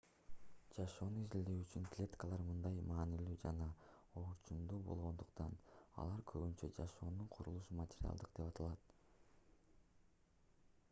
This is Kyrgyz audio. жашоону изилдөө үчүн клеткалар мындай маанилүү жана орчундуу болгондуктан алар көбүнчө жашоонун курулуш материалдары деп аталат